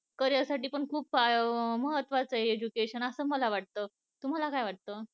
career साठी पण खूप महत्वच आहे education असं मला वाटत तुम्हाला वाटत?